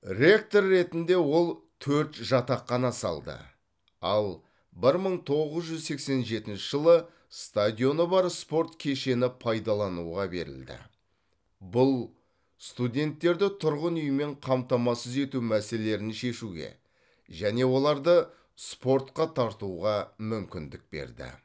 ректор ретінде ол төрт жатақхана салды ал бір мың тоғыз жүз сексен жетінші жылы стадионы бар спорт кешені пайдалануға берілді бұл студенттерді тұрғын үймен қамтамасыз ету мәселелерін шешуге және оларды спортқа тартуға мүмкіндік берді